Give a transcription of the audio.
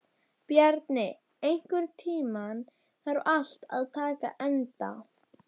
Bjarni, einhvern tímann þarf allt að taka enda.